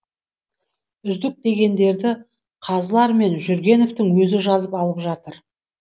үздік дегендерді қазылар мен жүргеновтің өзі жазып алып жатыр